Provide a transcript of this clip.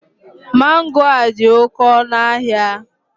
Mango a dị oke ọnụ ahịa